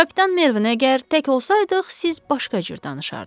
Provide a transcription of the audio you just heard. Kapitan Mervin, əgər tək olsaydıq, siz başqa cür danışardız.